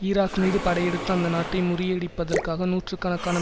Iraq மீது படையெடுத்து அந்த நாட்டை முறியடிப்பதற்காக நூற்று கணக்கான